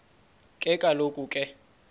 ke kaloku ke